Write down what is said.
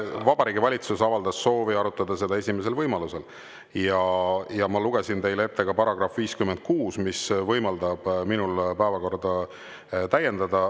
Vabariigi Valitsus avaldas soovi arutada seda esimesel võimalusel ja ma lugesin teile ette ka § 56, mis võimaldab minul päevakorda täiendada.